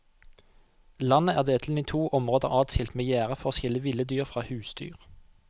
Landet er delt inn i to områder adskilt med gjerde for å skille ville dyr fra husdyr.